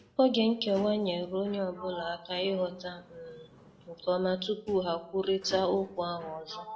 Oge nkewa nyeere ọnye ọbụla aka ighọta um nke ọma tupu ha kwụrita okwu ahụ ọzọ.